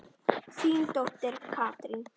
Þín dóttir Katrín.